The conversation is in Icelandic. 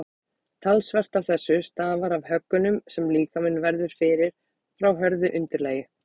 talsvert af þessu stafar af höggunum sem líkaminn verður fyrir frá hörðu undirlagi